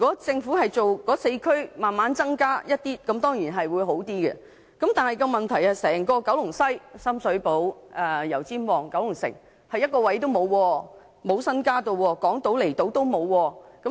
政府在那4區逐漸增加名額，這當然會較好，但問題是整個九龍西，包括深水埗、油尖旺和九龍城卻一個空位也沒有，亦沒有增加名額，連港島和離島的名額也沒有增加。